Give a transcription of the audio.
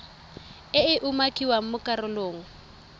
e e umakiwang mo karolong